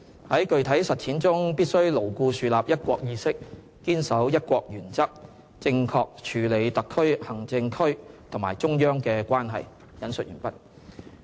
在具體實踐中，必須牢固樹立'一國'意識，堅守'一國'原則，正確處理特別行政區和中央的關係。